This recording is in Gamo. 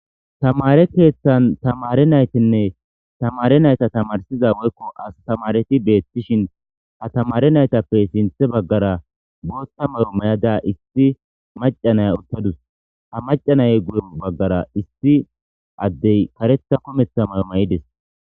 Tamare keeththan tamare naytinne tamare nayta tamarsiza woykko astamareti beettishin ha tamare naytappe sinthe baggara boothta mayo may'ada issi macanaya uttadus hamacanay guye baggara issi addey karetha kumetha mayo may'ides.